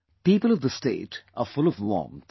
People of the state are full of warmth